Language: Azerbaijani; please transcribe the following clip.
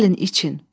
Gəlin için.